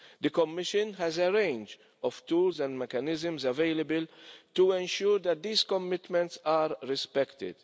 The Commission has a range of tools and mechanisms available to ensure that these commitments are respected.